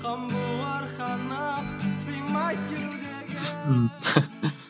қан буырқанып сыймай кеудеге